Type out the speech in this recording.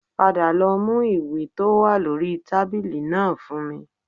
Padà lọ mú ìwé tó wà lórí tábìlì náà fún mi